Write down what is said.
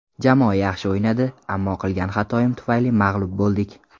Jamoa yaxshi o‘ynadi, ammo qilgan xatoyim tufayli mag‘lub bo‘ldik.